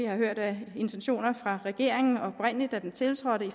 har hørt af intentioner fra regeringen da den tiltrådte